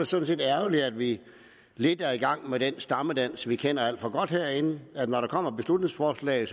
sådan set ærgerligt at vi lidt er i gang med den stammedans vi kender alt for godt herinde når der kommer et beslutningsforslag